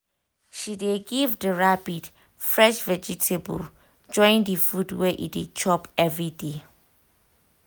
she dey give the rabbit fresh vegetables join the food wey e dey chop everyday